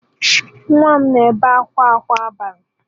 Nwa m na-ebe akwa kwa abalị